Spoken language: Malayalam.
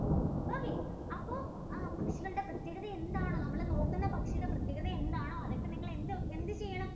okay അപ്പൊ അ ഇവരുടെ പ്രത്യേകത എന്താണ് നമ്മുടെ നോക്കുന്ന പക്ഷിയുടെ പ്രത്യേകത എന്താണോ അതൊക്കെ നിങ്ങൾ എന്ത് എന്ത് ചെയ്യണം